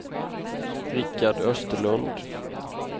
Richard Österlund